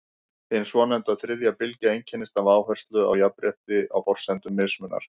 Hin svonefnda þriðja bylgja einkennist af áherslu á jafnrétti á forsendum mismunar.